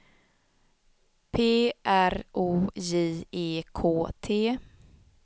P R O J E K T